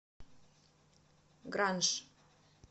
гранж